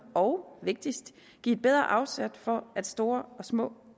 og vigtigst give et bedre afsæt for at store og små